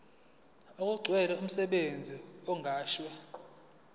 okugcwele umsebenzi oqashwe